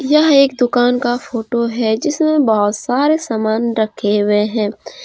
यह एक दुकान का फोटो है जिसमें बहुत सारे सामान रखे हुए हैं।